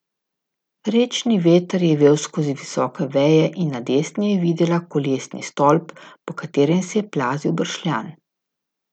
Rečni veter je vel skozi visoke veje in na desni je videla Kolesni stolp, po katerem se je plazil bršljan.